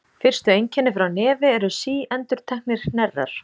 Fyrstu einkenni frá nefi eru síendurteknir hnerrar.